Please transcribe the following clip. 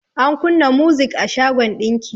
An kunna muzik a shagon ɗinki.